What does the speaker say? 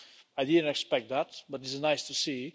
I didn't expect that, but it's nice to see.